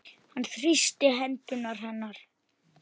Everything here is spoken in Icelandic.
Hann þrýstir hendur hennar.